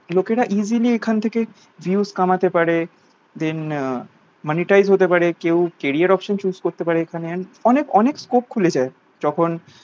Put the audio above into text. লোকে রা easily এখন থেকে views কামাতে পারে then আহ monetize হতে পারে কেউ carrier option chose করতে পারে এখানে and অনেক অনেক scope খুলেজায় যখন